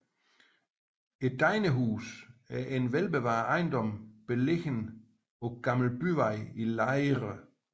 Degnehuset er en velbevaret ejendom beliggende på Gammel Byvej i Lejre